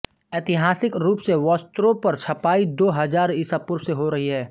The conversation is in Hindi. ऐतिहासिक रूप से वस्त्रों पर छपाई दो हजार ईसा पूर्व से हो रही है